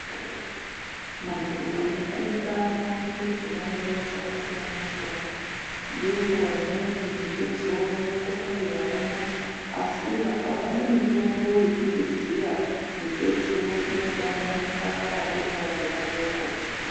Vantu veikura vanoite zviyayiyo zvaka siyana siyana nge nguva imweni mitezo inoita kunge yaoma asi vakaone mitombo yeku kwizira mitezo ino tambanuka padoko nge padoko.